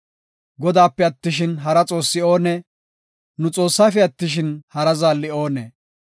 Godaape attishin, hara xoossi oonee? nu Xoossaafe attishin, hara zaalli oonee?